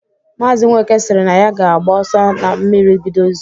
Maazi Nweke sịrị na ya ga-agba ọsọ ma mmiri bido izo